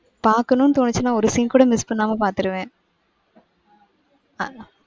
பாக்கணும்னு தோனுச்சுனா ஒரு scene கூட மிஸ் பண்ணாம பாத்துருவேன்.